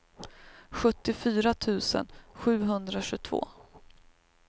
sjuttiofyra tusen sjuhundratjugotvå